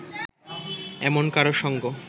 এমন কারও সঙ্গ